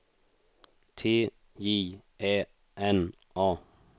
T J Ä N A